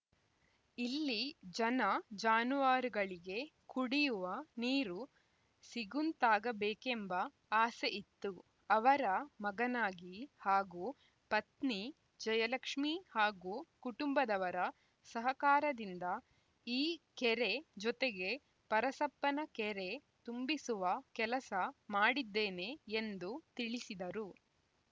ಇಲ್ಲಿ ಜನಜಾನುವಾರುಗಳಿಗೆ ಕುಡಿಯುವ ನೀರು ಸಿಗುಂತಾಗಬೇಕೆಂಬ ಆಸೆ ಇತ್ತು ಅವರ ಮಗನಾಗಿ ಹಾಗೂ ಪತ್ನಿ ಜಯಲಕ್ಷ್ಮೀ ಹಾಗೂ ಕುಟುಂಬದವರ ಸಹಕಾರದಿಂದ ಈ ಕೆರೆ ಜೊತೆಗೆ ಪರಸಪ್ಪನ ಕೆರೆ ತುಂಬಿಸುವ ಕೆಲಸ ಮಾಡಿದ್ದೇನೆ ಎಂದು ತಿಳಿಸಿದರು